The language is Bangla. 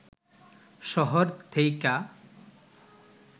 শহর থেইকা